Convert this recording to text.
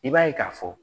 I b'a ye k'a fɔ